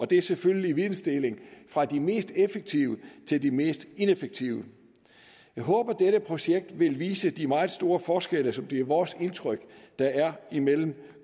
det er selvfølgelig videndeling fra de mest effektive til de mest ineffektive jeg håber at dette projekt vil vise de meget store forskelle som det er vores indtryk at der er imellem